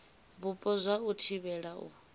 vhupo zwa u thivhela u